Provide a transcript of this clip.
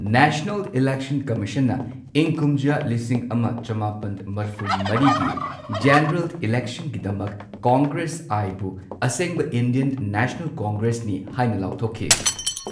National election ꯀꯝꯃꯤꯁꯟꯅ ꯏꯪ ꯀꯨꯝꯖꯥ ꯂꯤꯁꯤꯡ ꯑꯃ ꯆꯃꯥꯄꯟ ꯃꯔꯤꯐꯨ ꯃꯔꯤꯒꯤ ꯖꯦꯅꯔꯦꯜ ꯏꯂꯦꯛꯁꯟꯒꯤꯗꯃꯛ ꯀꯪꯒ꯭ꯔꯦꯁ ꯑꯥꯏ ꯕꯨ ꯑꯁꯦꯡꯕ ꯏꯟꯗꯤꯌꯟ ꯅꯦꯁꯅꯦꯜ ꯀꯪꯒ꯭ꯔꯦꯁꯅꯤ ꯍꯥꯏꯅ ꯂꯥꯎꯊꯣꯛꯈꯤ꯫